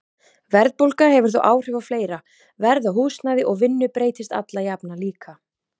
Verðbólga hefur þó áhrif á fleira, verð á húsnæði og vinnu breytist alla jafna líka.